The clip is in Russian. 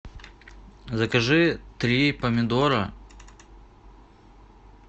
закажи три помидора